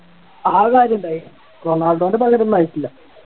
അത് കാര്യമുണ്ടായി റൊണാൾഡോൻ്റെ പകരം ഒന്നും ആയിട്ടില്ല